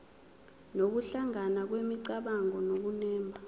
nokuhlangana kwemicabango nokunemba